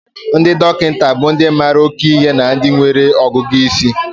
Ndị dọkịta bụ ndị mara oke ihe na ndị nwere ọgụgụ isi.